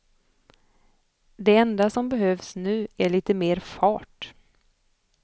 Det enda som behövs nu är lite mer fart.